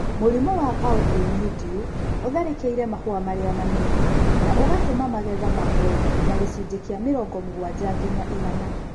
Mũrimũ wa Powdery mildew ũtharĩkĩire mahũa marĩa manyinyi na ũgatũma magetha mague na gĩcunjĩ kĩa mĩrongo mũgwanja nginya igana.